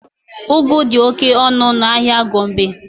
Ụgụ dị oke ọnụ n'ahịa Gombe.